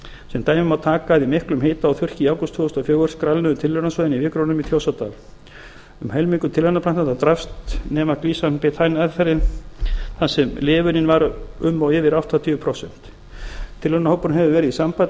sem dæmi má taka að í miklum hita og þurrki í ágúst tvö þúsund og fjögur skrælnuðu tilraunasvæðin á vikrunum í þjórsárdal um helmingur tilraunaplantnanna drapst nema glycine betaine meðferðin þar sem lifunin var um og yfir áttatíu prósent tilraunahópurinn hefur verið í sambandi